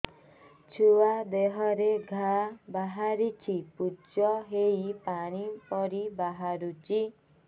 ଛୁଆ ଦେହରେ ଘା ବାହାରିଛି ପୁଜ ହେଇ ପାଣି ପରି ବାହାରୁଚି